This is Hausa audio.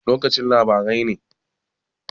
Lokacin labarai ne?